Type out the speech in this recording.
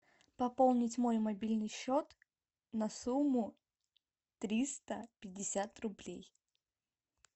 пополнить мой мобильный счет на сумму триста пятьдесят рублей